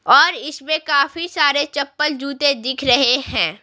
और इसमें काफी सारे चप्पल जूते दिख रहे हैं।